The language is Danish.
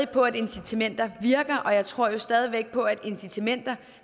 på at incitamenter virker og jeg tror jo stadig væk på at incitamenter